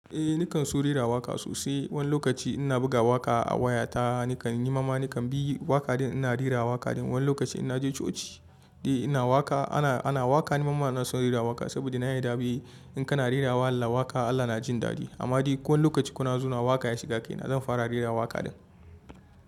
Eh nikan so rera waƙa sosai. Wani lokaci ina buga waƙa a wayata, nikan yi mamani kan bi waƙaɗin ina rera waƙaɗin. Wani lokaci ina je coci, eh ina waƙa. Ana, ana waƙa ni mamana ina son rera waƙa saboda na yi dabi'u. In kana rera waƙa Allah na jin daɗi amma dai ko wani lokaci kuna zuwa waƙa ya shiga kaina zan fara rera waƙaɗin.